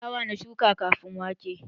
Dawa na shuka kafin wake